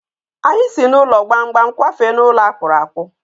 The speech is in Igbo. Anyị si n'ụlọ gbamgbam kwafee n'ụlọ akpụrụ akpụ.